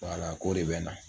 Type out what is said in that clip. Wala k'o de bɛ na.